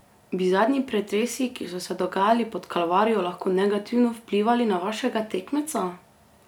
Bi zadnji pretresi, ki so se dogajali pod Kalvarijo, lahko negativno vplivali na vašega tekmeca?